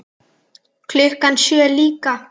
Klukkan sjö líka.